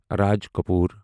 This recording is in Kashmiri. راج کپور